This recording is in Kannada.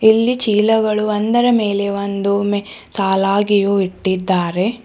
ಇಲ್ಲಿ ಚೀಲಗಳು ಒಂದರ ಮೇಲೆ ಒಂದು ಮೆ ಸಾಲಾಗಿಯೂ ಇಟ್ಟಿದ್ದಾರೆ.